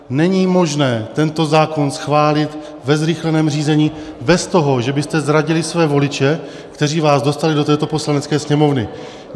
Není možné tento zákon schválit ve zrychleném řízení bez toho, že byste zradili své voliče, kteří vás dostali do této Poslanecké sněmovny.